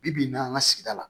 Bi bi in na an ka sigida la